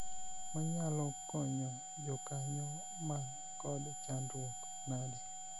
wanyalo konyo jokanyo man kod chandruok nade ?